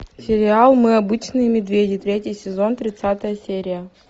сериал мы обычные медведи третий сезон тридцатая серия